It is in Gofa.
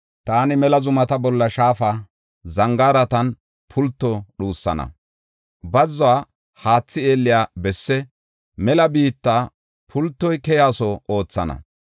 Taani mela zumata bolla shaafa, zangaaratan pulto dhuusana. Bazzuwa haathi eelliya bessi, mela biitta pultoy keyaso oothana.